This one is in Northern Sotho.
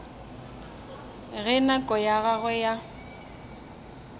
ge nako ya gagwe ya